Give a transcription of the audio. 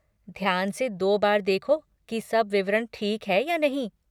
ध्यान से दो बार देखो की सब विवरण ठीक है या नहीं।